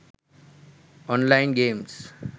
online games